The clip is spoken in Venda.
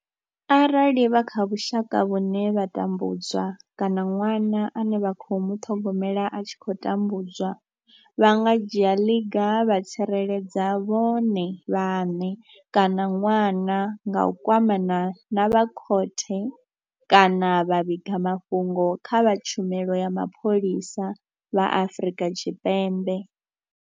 Arali vha kha vhusha ka vhune vha tambudzwa kana ṅwana ane vha khou muṱhogomela a tshi khou tambudzwa, vha nga dzhia ḽiga vha tsireledza vhone vhaṋe kana ṅwana nga u kwamana na vha khothe kana vha vhiga mafhungo kha vha tshumelo ya mapholisa vha Afrika Tshipembe.